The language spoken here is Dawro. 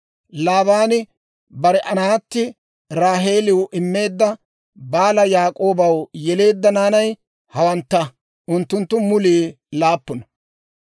Laabaani bare naatti Raaheeliw immeedda Baala Yaak'oobaw yeleedda naanay hawantta; unttunttu mulii laappuna.